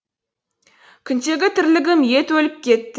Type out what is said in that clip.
күндегі тірлігім ет өліп кетті